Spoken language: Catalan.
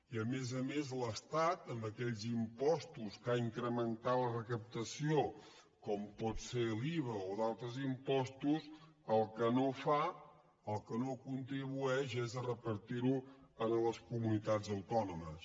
i a més a més l’estat amb aquells impostos en què ha incrementat la recaptació com pot ser l’iva o d’altres impostos el que no fa el que no contribueix és a re·partir·ho a les comunitats autònomes